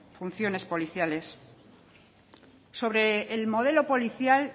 funciones policiales sobre el modelo policial